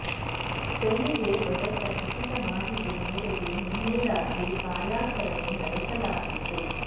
ಸೇನೆಗೆ ದೊರೆತ ಖಚಿತ ಮಾಹಿತಿ ಮೇರೆಗೆ ನಿನ್ನೆ ರಾತ್ರಿ ಕಾರ್ಯಾಚರಣೆ ನಡೆಸಲಾಗಿತ್ತು